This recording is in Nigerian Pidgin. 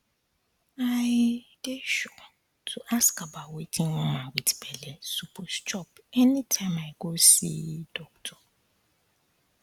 i um dey sure um to ask about wetin woman with belle suppose chop anytime i go um see doctor